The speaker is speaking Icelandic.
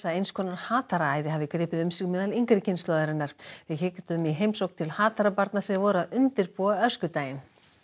eins konar hafi gripið um sig meðal yngri kynslóðarinnar við kíktum í heimsókn til Hatarabarna sem voru að undirbúa öskudaginn